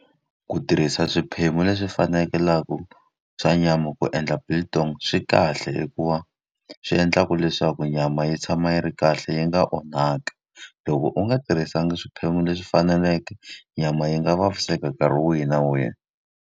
Ku tirhisa swiphemu leswi fanekelaka swa nyama ku endla biltong swi kahle hikuva, swi endlaka ku leswaku nyama yi tshama yi ri kahle yi nga onhaki. Loko u nga tirhisanga swiphemu leswi faneleke, nyama yi nga vaviseka nkarhi wihi na wihi.